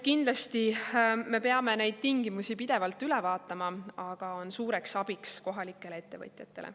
Kindlasti me peame neid tingimusi pidevalt üle vaatama, aga see on suureks abiks kohalikele ettevõtjatele.